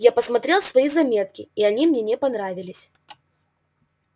я посмотрел свои заметки и они мне не понравились